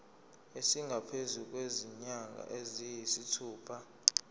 esingaphezu kwezinyanga eziyisithupha